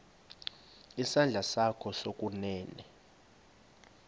isandla sakho sokunene